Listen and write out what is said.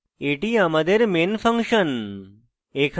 এটি আমাদের main function